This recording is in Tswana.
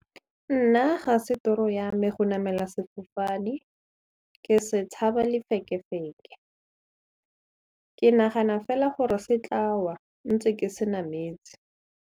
Nna ga se toro ya me go namela sefofane ke se tshaba lefekefeke ke nagana fela gore se tla wa ntse ke se nametse.